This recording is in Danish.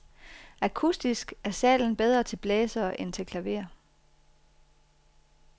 Akustisk er salen bedre til blæsere end til klaver.